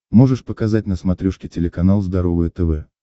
можешь показать на смотрешке телеканал здоровое тв